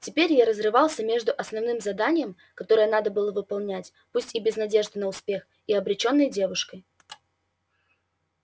теперь я разрывался между основным заданием которое надо было выполнять пусть и без надежды на успех и обречённой девушкой